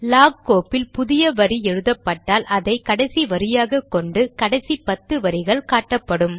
lock கோப்பில் புதிய வரி எழுதப்பட்டால் அதை கடைசி வரியாக கொண்டு கடைசி பத்து வரிகள் காட்டப்படும்